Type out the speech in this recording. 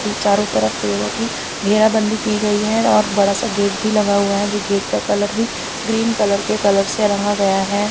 ती चारो तरफ पेड़ों की घेराबंदी की गई है और बड़ा सा गेट भी लगा हुआ है जो गेट का कलर भी ग्रीन कलर के कलर से रंगा गया है।